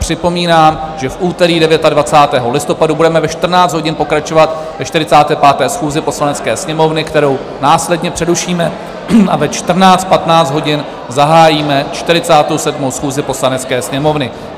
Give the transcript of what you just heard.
Připomínám, že v úterý 29. listopadu budeme ve 14 hodin pokračovat ve 45. schůzi Poslanecké sněmovny, kterou následně přerušíme, a ve 14.15 hodin zahájíme 47. schůzi Poslanecké sněmovny.